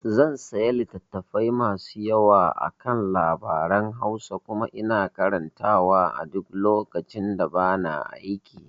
zan saya littatafai masu yawa akan labaran Hausa kuma ina karantawa a duk lokacin da bana aiki